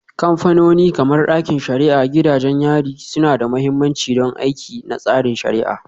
Kamfanoni kamar ɗakin shari'a, gidajen yari suna da mahimmanci don aiki na tsarin shari'a.